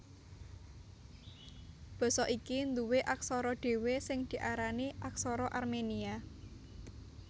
Basa iki nduwé aksara dhéwé sing diarani Aksara Armenia